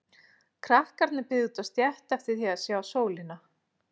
Krakkarnir biðu úti á stétt eftir því að sjá sólina.